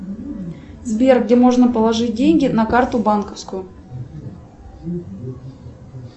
сбер где можно положить деньги на карту банковскую